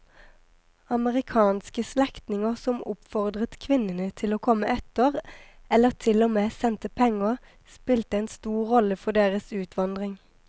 Amerikanske slektninger som oppfordret kvinnene om å komme etter eller til og med sendte penger spilte en stor rolle for deres utvandring.